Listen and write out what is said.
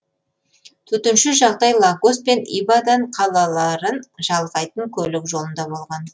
төтенше жағдай лагос пен ибадан қалаларын жалғайтын көлік жолында болған